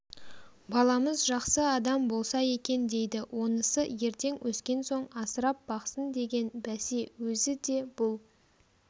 баламыз жақсы адам болса екен дейді онысы ертең өскен соң асырап-бақсын деген бәсе өзі де бұл